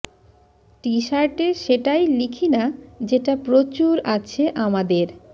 টি শার্টে সেটাই লিখি না যেটা প্রচুর আছে আমাদের